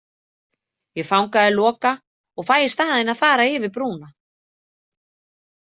Ég fangaði Loka og fæ í staðinn að fara yfir brúna